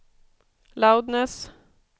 loudness